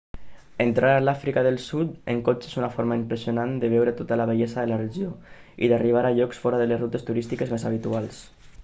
entrar a l'àfrica del sud en cotxe és una forma impressionant de veure tota la bellesa de la regió i d'arribar a llocs fora de les rutes turístiques més habituals